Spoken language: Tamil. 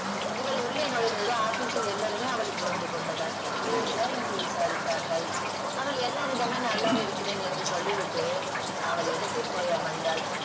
இவள் உள்ளே நுழைந்ததும் office ல் எல்லாருமே அவளை சூழ்ந்துகொண்டனர் எப்படி இருக்கிறாய் என்று விசாரித்தார்கள் அவள் எல்லாரிடமே நல்லாவே இருக்கிறேன் என்று சொல்லிவிட்டு அவள் இடத்தில் போய் அமர்ந்தால்